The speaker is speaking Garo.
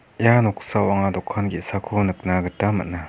ia noksao anga dokan ge·sako nikna gita man·a.